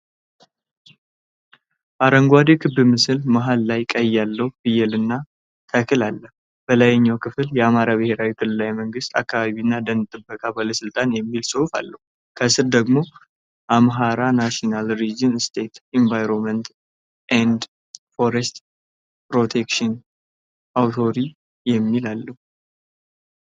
አረንጓዴ ክብ ምልክት መሃል ላይ ቀንድ ያለው ፍየልና ተክል አለ። በላይኛው ክፍል የአማራ ብሔራዊ ክልላዊ መንግሥት አካባቢና የደን ጥበቃ ባለሥልጣን የሚል ጽሑፍ አለ። ከስር ደግሞ አምሃራ ናሽናል ሪጅናል ስቴት ኢንቫይሮንመንት ኤንድ ፎረስት ፕሮቴክሽን አውቶሪቲ የሚል አለው።